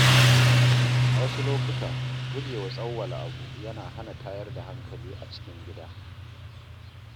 A wasu lokuta, gujewa tsawwala abu yana hana tayar da hankali a cikin gida.